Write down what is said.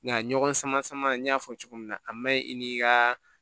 Nka ɲɔgɔn sama sama n y'a fɔ cogo min na a ma ɲi i ni ka